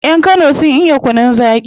Yan kano sun iya kunun zaki